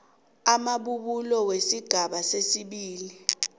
amabubulo wesigaba sesibili